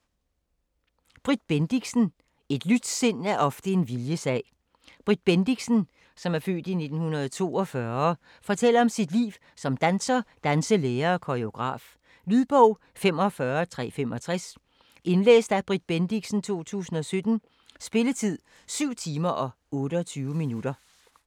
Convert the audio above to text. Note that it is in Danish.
Bendixen, Britt: Et lyst sind er ofte en viljessag Britt Bendixen (f. 1942) fortæller om sit liv som danser, danselærer og koregraf. Lydbog 45365 Indlæst af Britt Bendixen, 2017. Spilletid: 7 timer, 28 minutter.